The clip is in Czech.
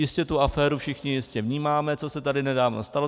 Jistě tu aféru všichni vnímáme, co se tady nedávno stala.